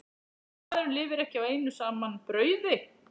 Maðurinn lifir ekki á einu saman brauði.